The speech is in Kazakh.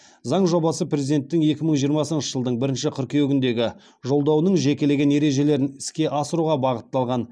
заң жобасы президенттің екі мың жиырмасыншы жылдың бірінші қыркүйегіндегі жолдауының жекелеген ережелерін іске асыруға бағытталған